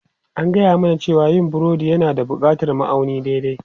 An gaya mana cewa yin burodi yana buƙatar ma'auni daidai.